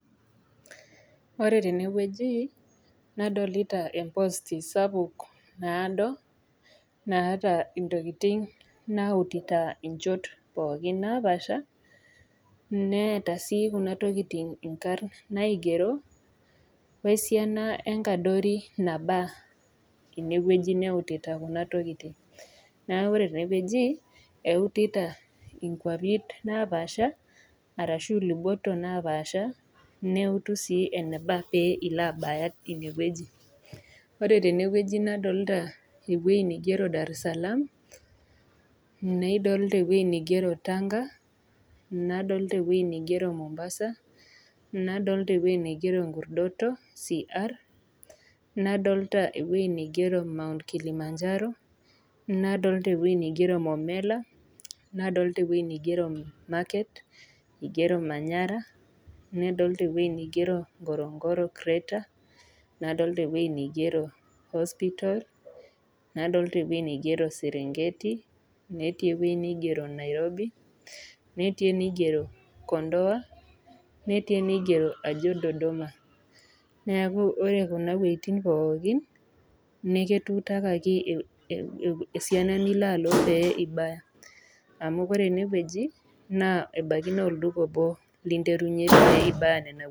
Ore tenewueji nadolita ee post sapuk naado naata entokitin nautita enchot napashaa netaa Kuna tokitin naigeroo wee esiana wee nkadori naba enewueji neunitata Kuna tokitin neeku ore tenewueji epirta nkwapii napashaa arashu elobut napaasha neutu sii enebaa pee elo abaya enewueji ore tenewueji nadolita enigero daresalaam nadolita ewueji nigero Tanga nadolita enigero Mombasa nadolita enigero nkurdoto Cr nadolita enigero My. Kilimanjaro nadoita enigero momela nadolita enigero manyara nadolita enigero nkoronkore creater nadolita enigero hospital nadolita enigero Serengeti netii enigero Nairobi netii enigero kondoa netii enigero Ajo dodoma neeku kuneeuejitin pookin naa ekitutakaki esiana nilo aloo pee ebaya amu ore enewueji naa ebaiki naa olduka obo linterua pee ebaya Nena kwapi